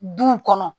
Duw kɔnɔ